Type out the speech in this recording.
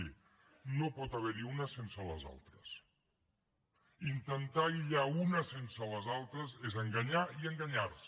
miri no pot haver hi una sense les altres intentar aïllar una sense les altres és enganyar i enganyar se